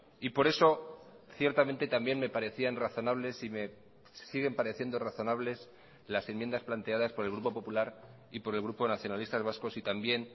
y por eso ciertamente también me parecían razonables y me siguen pareciendo razonables las enmiendas planteadas por el grupo popular y por el grupo nacionalistas vascos y también